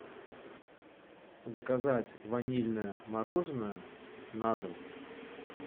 заказать ванильное мороженое на дом